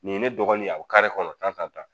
Nin ye ne dɔgɔnin a bɛ kare kɔnɔ tan tan tan